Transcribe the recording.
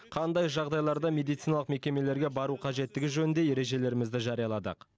қандай жағдайларда медициналық мекемелерге бару қажеттігі жөнінде ережелерімізді жарияладық